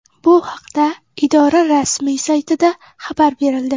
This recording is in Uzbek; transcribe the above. Bu haqda idora rasmiy saytida xabar berildi .